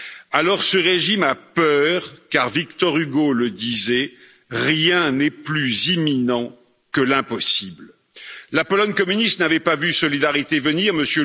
Alors ce régime a peur car Victor Hugo le disait rien n'est plus imminent que l'impossible. La Pologne communiste n'avait pas vu Solidarité venir, M.